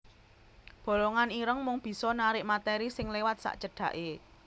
Bolongan ireng mung bisa narik materi sing liwat sacedhaké